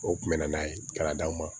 O kun bɛ na n'a ye ka d'aw ma